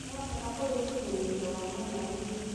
ni wa bata kũrĩ ũkĩnyanĩria wa mwena ũyũ